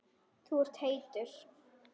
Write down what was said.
Þú ert heitur.